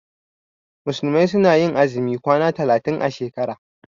Musulmai su na yin azumin kwana talatin a shekara